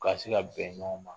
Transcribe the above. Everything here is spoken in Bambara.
Ka se ka bɛn ɲɔn ma